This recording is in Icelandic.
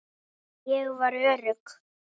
Ég var örugg.